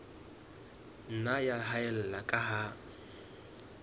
nna ya haella ka ha